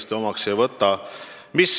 Seda ma omaks ei võta.